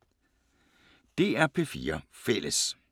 DR P4 Fælles